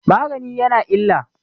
magani ya na illa?